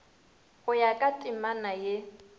go ya ka temana ye